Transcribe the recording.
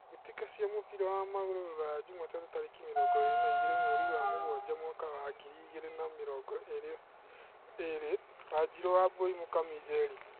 Mbĩtĩka cia mũbira wa magũrũ Rũraya Jumatano tarĩki mĩrongo ĩrĩ na igĩrĩ mweri wa mũgwanja mwaka wa ngiri igĩrĩ na mĩrongo ĩrĩ: Wanjiru, Wambui, Mũkami, Njeri.